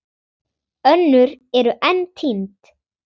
Önnur eru enn týnd.